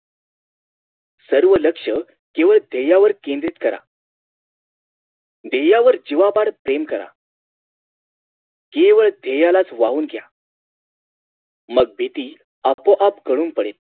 सर्व लक्ष केवळ धेय्यावर केंद्रित करा धेय्यावर जीवापाड प्रेम करा केवळ धेय्यालाच वाहून घ्या मग भीती आपोआप गळून पडेल